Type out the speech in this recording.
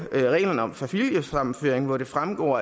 reglerne om familiesammenføring hvor det fremgår